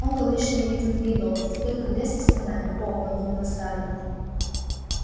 он говорит что не видит в ней доблести только грязь и страдания о подумала скарлетт